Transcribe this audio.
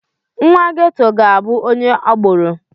Nwa Ghetto ga-abụ onye agboro.